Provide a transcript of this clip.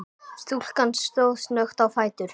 Stúlkan stóð snöggt á fætur.